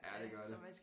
Ja det gør det